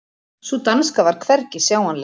Sú danska var hvergi sjáanleg.